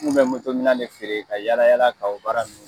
N kun be moto minan de feere, ka yala yala ka o baara nunnu